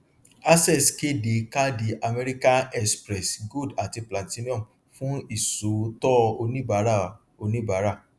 access kéde káàdì american express gold àti platinum fún ìṣòótọ oníbàárà oníbàárà